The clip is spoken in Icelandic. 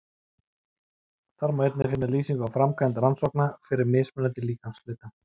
Þar má einnig finna lýsingu á framkvæmd rannsókna fyrir mismunandi líkamshluta.